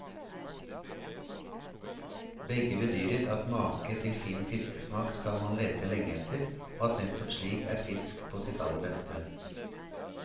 Begge bedyret at make til fin fiskesmak skal man lete lenge etter, og at nettopp slik er fisk på sitt aller beste.